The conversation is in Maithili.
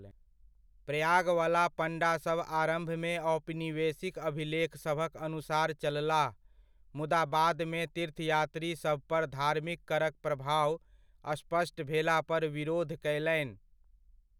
प्रयागवला पण्डासभ आरम्भमे औपनिवेशिक अभिलेखसभक अनुसार चललाह, मुदा बादमे तीर्थयात्रीसभपर धार्मिक करक प्रभाव स्पष्ट भेलापर विरोध कयलनि।